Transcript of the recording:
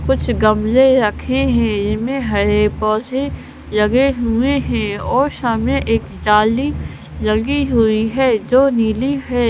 कुछ गमले रखे हैं इनमें हरे पौधे लगे हुए हैं और सामने एक जाली लगी हुई है जो नीली है।